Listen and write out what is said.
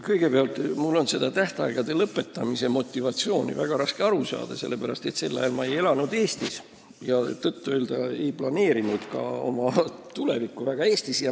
Kõigepealt, mul on sellest tähtaegade lõpetamise motivatsioonist väga raske aru saada, sellepärast et ma ei elanud sel ajal Eestis ja tõtt-öelda ei planeerinud ka väga oma tulevikku Eestis.